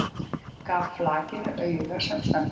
Gaf flakinu auga sem snöggvast.